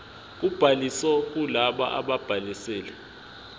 kobhaliso kulabo ababhalisile